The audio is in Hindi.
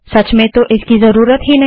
सच में आपको इसकी ज़रूरत नहीं